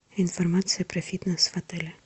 информация про фитнес в отеле